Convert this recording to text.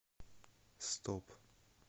стоп